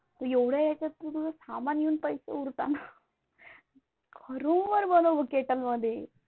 एवढ्या याच्यात तुझं सामान येऊन पैसे उरतात ना रूमवर बनव मग कॅटल मध्ये